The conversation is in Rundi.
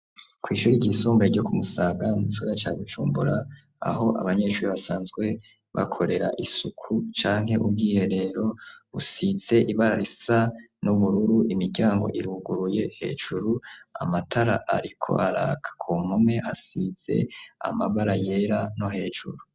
Kwishure ryisumbuye ryo kumusaga mu gisagara ca bujumbura aho abanyeshure basanzwe bakorera isuku canke ubwiherero ,busize ibara risa n’ubururu ,imiryango iruguruye, hejuru amatara ariko araka ku mpome hasize amabara yera no hejuru.